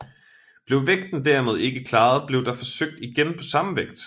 Blev vægten derimod ikke klaret blev der forsøgt igen på samme vægt